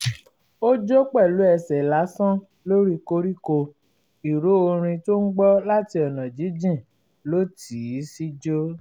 ó jó pẹ̀lú ẹsẹ̀ lásán lórí koríko ìró orin tó ń gbọ́ láti ọ̀nà jíjìn ló tì í síjó